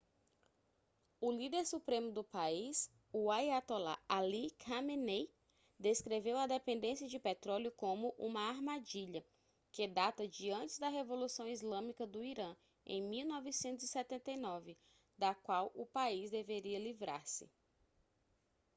o líder supremo do país o aiatolá ali khamenei descreveu a dependência de petróleo como uma armadilha que data de antes da revolução islâmica do irã em 1979 da qual o país deveria livrar-se